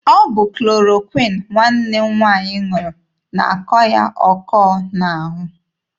Ọ bụ klorokwịn nwanne m nwaanyị ṅụrụ na-akọ ya ọkọ n'ahụ.